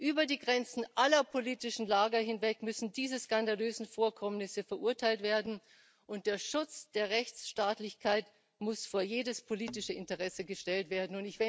Über die Grenzen aller politischen Lager hinweg müssen diese skandalösen Vorkommnisse verurteilt werden, und der Schutz der Rechtsstaatlichkeit muss vor jedes politische Interesse gestellt werden.